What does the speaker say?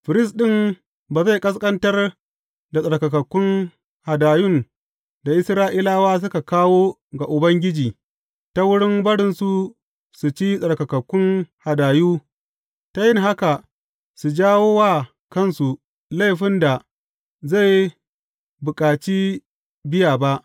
Firist ɗin ba zai ƙasƙantar da tsarkakakkun hadayun da Isra’ilawa suka kawo ga Ubangiji ta wurin barinsu su ci tsarkakakkun hadayu, ta yin haka su jawo wa kansu laifin da zai bukaci biya ba.